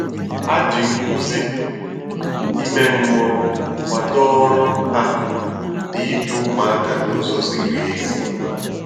Ha ji nkuzi ime mmụọ kwado ọrụ hà n’ịdu ụmụaka n’ụzọ zìrì ezi.